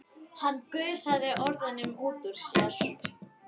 Hann gusaði orðunum út úr sér.